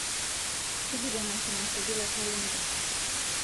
tujuto emasho nasuju te kalenda